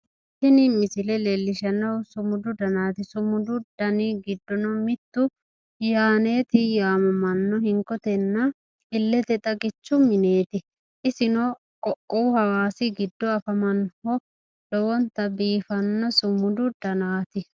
Tini misile leellishshannohu sumudu danaati. sumudu dani giddono mittu yaaneeti yaamamanno hinkotenna illete xagichu mineeti. isino qoqqowu hawaasi giddo afamannohu lowonta biifanno sumudu danaati.